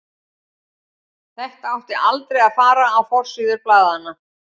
Þetta átti aldrei að fara á forsíður blaðanna.